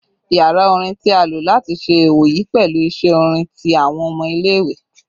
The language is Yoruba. Yara orin ti a lo lati ṣe iwoyi pẹlu iṣe orin ti awọn ọmọ ile-iwe